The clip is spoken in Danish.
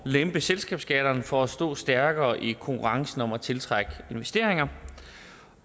lempe selskabsskatterne for at stå stærkere i konkurrencen om at tiltrække investeringer